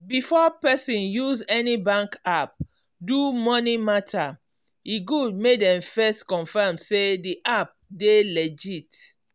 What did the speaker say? before person use any bank app do money matter e good make dem first confirm say the app dey legit.